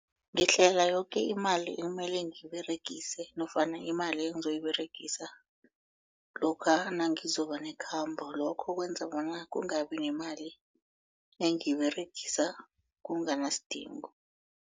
Ngihlela yoke imali ekumele ngiyiberegise nofana imali engizoyiberegisa lokha nangizoba nekhamba lokho kwenza bona kungabi nemali engiyiberegisa kunganasidingo.